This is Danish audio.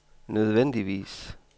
nødvendigvis